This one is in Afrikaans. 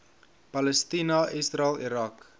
palestina israel irak